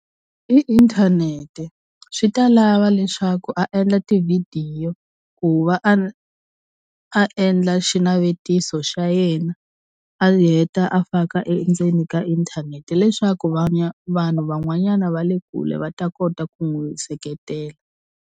I inthanete swi ta lava leswaku a endla tivhidiyo ku va a a endla xinavetiso xa yena a heta a faka endzeni ka inthanete leswaku vanhu vanhu van'wanyana va le kule va ta kota ku n'wi seketela.